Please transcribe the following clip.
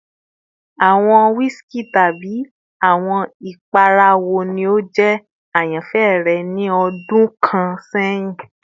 Awọn whiskey tabi awọn ipara wo ni o jẹ ayanfẹ rẹ ni ọdun kan sẹhin?